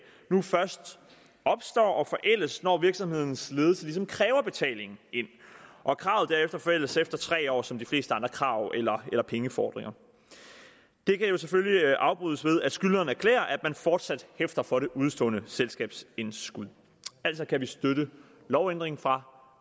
nu først opstår og forældes når virksomhedens ledelse ligesom kræver betaling ind og at kravet derefter forældes efter tre år som de fleste andre krav eller eller pengefordringer det kan jo selvfølgelig afbrydes ved at skyldneren erklærer at man fortsat hæfter for det udestående selskabsindskud altså kan vi støtte lovændringen fra